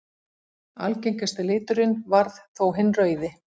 Algengasti liturinn varð þó hinn rauði.